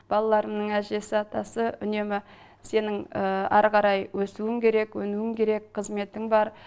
балаларымның әжесі атасы үнемі сенің әрі қарай өсуің керек өнуің керек қызметің бар